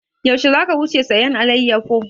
Yaushe za ka wuce sayan alayyafo?